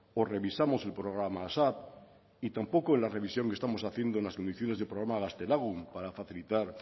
o revisamos el programa asap y tampoco en la revisión que estamos haciendo en las condiciones del programa gaztelagun para facilitar